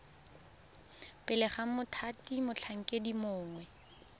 pele ga mothati motlhankedi mongwe